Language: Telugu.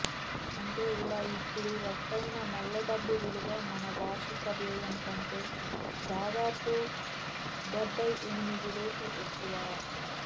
అంటే ఇలా ఇప్పుడు రట్టయిన నల్లడబ్బు విలువ మన వార్షిక వ్యయం కంటె దాదాపు డెబ్బయి ఎనిమిది రెట్లు ఎక్కువ